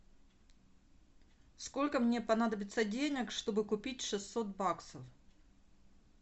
сколько мне понадобится денег чтобы купить шестьсот баксов